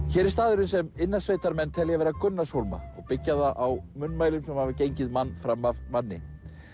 hér er staðurinn sem telja vera Gunnarshólma og byggja það á munnmælum sem hafa gengið mann fram af manni